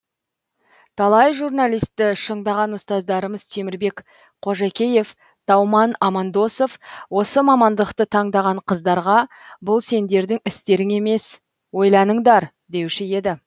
талай журналистті шыңдаған ұстаздарымыз темірбек қожакеев тауман амандосов осы мамандықты таңдаған қыздарға бұл сендердің істерің емес ойланыңдар деуші еді